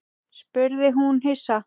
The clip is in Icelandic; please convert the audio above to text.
spurði hún hissa.